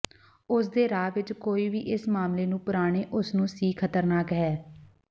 ਉਸ ਦੇ ਰਾਹ ਵਿਚ ਕੋਈ ਵੀ ਇਸ ਮਾਮਲੇ ਨੂੰ ਪੁਰਾਣੇ ਉਸ ਨੂੰ ਸੀ ਖ਼ਤਰਨਾਕ ਹੈ